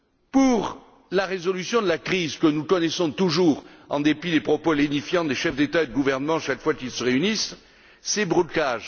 Pour la résolution de la crise que nous connaissons toujours, en dépit des propos lénifiants des chefs d'État et de gouvernement chaque fois qu'ils se réunissent, c'est le blocage.